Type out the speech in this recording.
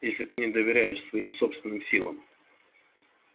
если ты не доверяешь своим собственным силам